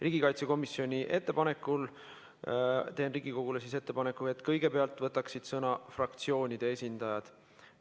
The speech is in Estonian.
Riigikaitsekomisjoni ettepanekul teen Riigikogule ettepaneku, et kõigepealt võtaksid sõna fraktsioonide esindajad.